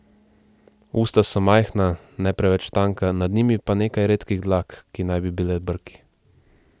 Usta so majhna, ne preveč tanka, nad njimi pa nekaj redkih dlak, ki naj bi bile brki.